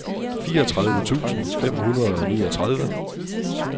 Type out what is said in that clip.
fireogtredive tusind fem hundrede og niogtredive